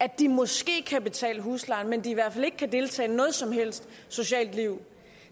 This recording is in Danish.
at de måske kan betale huslejen men at de i hvert fald ikke kan deltage i noget som helst socialt liv